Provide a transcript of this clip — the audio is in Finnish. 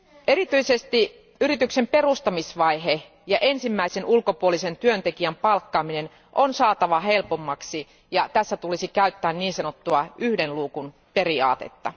Erityisesti yrityksen perustamisvaihe ja ensimmäisen ulkopuolisen työntekijän palkkaaminen on saatava helpommaksi, ja tässä tulisi käyttää niin sanottua yhden luukun periaatetta.